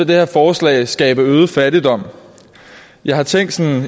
det her forslag skabe øget fattigdom jeg har tænkt sådan